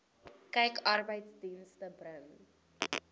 kyk arbeidsdienste bring